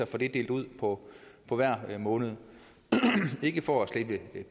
fordelt ud på på hver måned ikke for at slippe